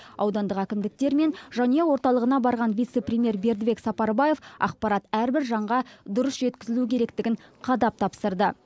аудандық әкімдіктер мен жанұя орталығына барған вице премьер бердібек сапарбаев ақпарат әрбір жанға дұрыс жеткізілуі керектігін қадап тапсырды